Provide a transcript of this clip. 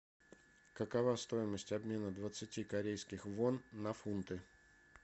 какова стоимость обмена двадцати корейских вон на фунты